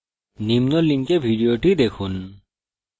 নিম্ন link উপলব্ধ video দেখুন